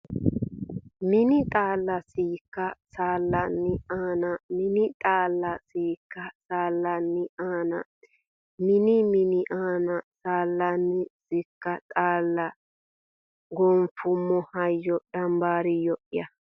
Mini xaalla sikka saallanni anna Mini xaalla sikka saallanni anna Mini Mini anna saallanni sikka xaalla goonfummo hayyo dambaariyyo ya !